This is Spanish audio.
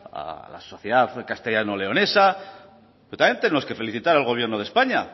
a la sociedad castellano leonesa pero también tenemos que felicitar al gobierno de españa